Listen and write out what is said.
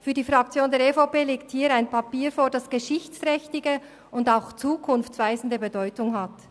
Für die Fraktion der EVP liegt hier ein Papier vor, das geschichtsträchtige und auch zukunftsweisende Bedeutung hat.